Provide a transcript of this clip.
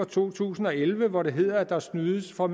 to tusind og elleve hvor det hedder at der snydes for